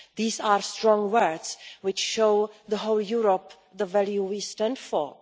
These are strong words which show the whole of Europe the values we stand for.